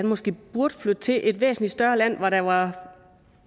måske burde flytte til et væsentlig større land hvor der var